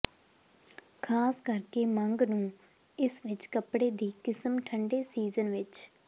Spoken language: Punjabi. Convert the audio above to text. ਖ਼ਾਸ ਕਰਕੇ ਮੰਗ ਨੂੰ ਇਸ ਵਿਚ ਕੱਪੜੇ ਦੀ ਕਿਸਮ ਠੰਡੇ ਸੀਜ਼ਨ ਵਿੱਚ